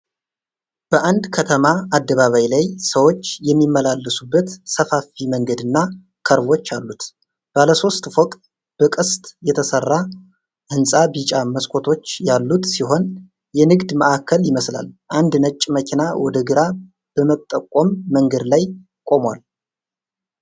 በአንድ ከተማ አደባባይ ላይ ሰዎች የሚመላለሱበት ሰፋፊ መንገድና ከርቮች አሉት። ባለሦስት ፎቅ፣ በቅስት የተሰራ ሕንጻ ቢጫ መስኮቶች ያሉት ሲሆን የንግድ ማዕከል ይመስላል። አንድ ነጭ መኪና ወደ ግራ በመጠቆም መንገድ ላይ ቆሟል።